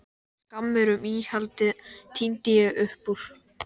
Skammir um íhaldið tíndi ég upp úr